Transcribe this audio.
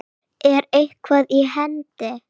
Er eitthvað í hendi?